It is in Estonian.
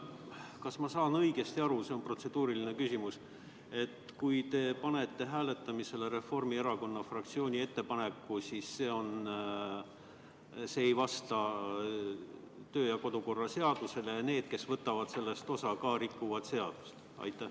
Kas ma saan õigesti aru – see on protseduuriline küsimus –, et kui te panete hääletamisele Reformierakonna fraktsiooni ettepaneku, siis see ei vasta kodu- ja töökorra seadusele ning need, kes võtavad sellest hääletusest osa, rikuvad seadust?